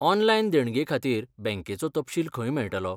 Online देणगे खातीर बँकेचो तपशील खंय मेळटलो?